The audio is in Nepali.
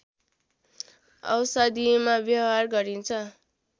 औषधिमा व्यवहार गरिन्छ